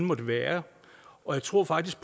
måtte være og jeg tror faktisk